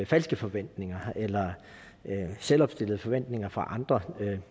falske forventninger eller selvopstillede forventninger for andre